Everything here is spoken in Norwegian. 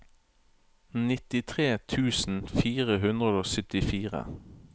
nittitre tusen fire hundre og syttifire